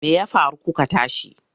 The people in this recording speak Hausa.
Me ya faru kuka tashi?